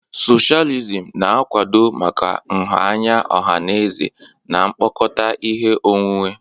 Socialism na-akwado maka nha anya ọha na eze na mkpokọta ihe onwunwe.